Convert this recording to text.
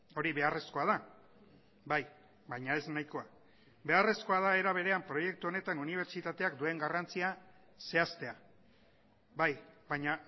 hori beharrezkoa da bai baina ez nahikoa beharrezkoa da era berean proiektu honetan unibertsitateak duen garrantzia zehaztea bai baina